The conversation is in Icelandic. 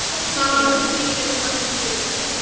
Það var nú ekki beinlínis það sem ég átti við.